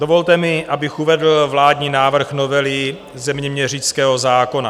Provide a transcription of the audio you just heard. Dovolte mi, abych uvedl vládní návrh novely zeměměřického zákona.